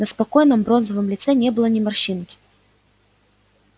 на спокойном бронзовом лице не было ни морщинки